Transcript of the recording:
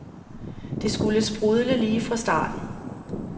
Det skulle sprudle lige fra starten.